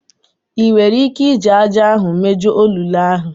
Ị nwere ike iji ájá ahụ mejuo olulu ahụ?